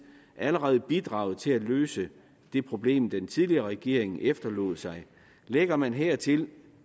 allerede bidraget til at løse det problem den tidligere regering efterlod sig lægger man hertil